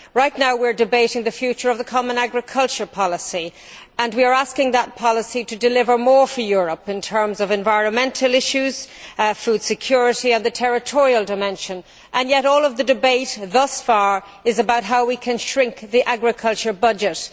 Right now, we are debating the future of the common agricultural policy and we are asking that policy to deliver more for Europe in terms of environmental issues, food security and the territorial dimension, and yet all of the debate thus far has been about how can we shrink the agriculture budget.